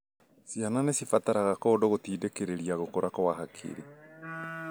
Ciana nĩ cibataraga kũndũ gũtindĩkĩrĩria gũkũra kwa hakiri,